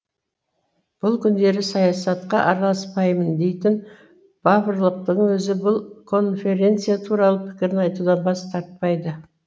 бұл күндері саясатқа араласпаймын дейтін баварлықтың өзі бұл конференция туралы пікірін айтудан бас тартпайды